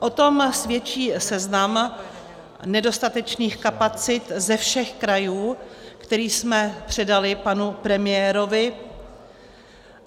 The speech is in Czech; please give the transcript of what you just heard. O tom svědčí seznam nedostatečných kapacit ze všech krajů, který jsme předali panu premiérovi.